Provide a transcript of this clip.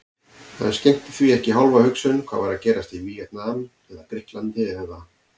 Hann skenkti því ekki hálfa hugsun hvað var að gerast í Víetnam eða Grikklandi eða